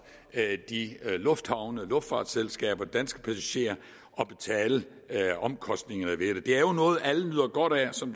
lufthavne luftfartsselskaber og danske passagerer at betale omkostningerne ved det det er jo noget alle nyder godt af som